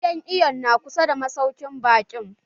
Gidan iwon na kusa da masaukin baƙin?